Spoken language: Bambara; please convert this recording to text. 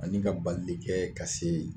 Ani ka bali de kɛ ka se